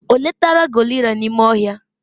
o letara gorilla n'ime ohia?